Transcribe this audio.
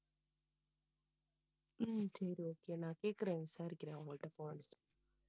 உம் சரி okay நான் கேட்கிறேன் விசாரிக்கிறேன் அவங்க கிட்ட